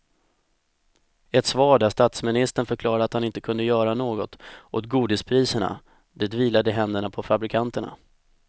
Ett svar där statsministern förklarade att han inte kunde göra något åt godispriserna, det vilade i händerna på fabrikanterna.